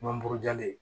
Manburu diyalen